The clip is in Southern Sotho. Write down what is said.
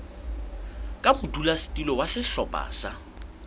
ka modulasetulo wa sehlopha sa